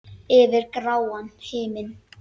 Yfir gráan himin.